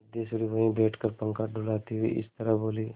सिद्धेश्वरी वहीं बैठकर पंखा डुलाती हुई इस तरह बोली